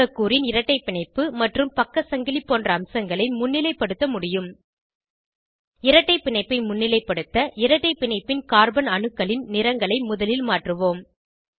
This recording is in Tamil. மூலக்கூறின் இரட்டை பிணைப்பு மற்றும் பக்க சங்கிலி போன்ற அம்சங்களை முன்னிலைப்படுத்த முடியும் இரட்டை பிணைப்பை முன்னிலைப்படுத்த இரட்டை பிணைப்பின் கார்பன் அணுக்களின் நிறங்களை முதலில் மாற்றுவோம்